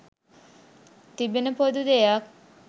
තිබෙන පොදු දෙයක්.